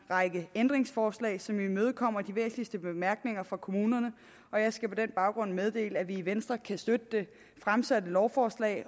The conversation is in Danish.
række ændringsforslag som imødekommer de væsentligste bemærkninger fra kommunerne og jeg skal på den baggrund meddele at vi i venstre kan støtte det fremsatte lovforslag